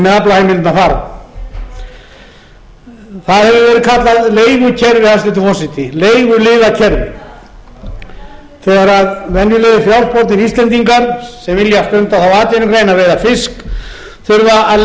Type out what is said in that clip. aflaheimildirnar fara það hefur verið kallað leigukerfi hæstvirtur forseti leiguliðakerfi þegar venjulegir frjálsbornir íslendingar sem vilja stunda þá atvinnugrein að veiða fisk þurfa að